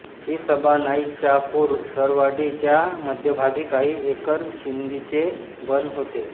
हि सभा नाईचाकूर सरवडी च्या मध्यभागी काही एकर शिंदीचे बन होते